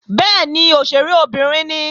Bẹ́ẹ̀ni, òṣèré obìnrin ni